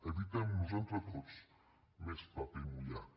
evitemnos entre tots més paper mullat